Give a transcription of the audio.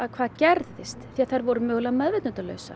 hvað gerðist því að þær voru mögulega